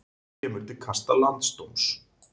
Kemur til kasta landsdóms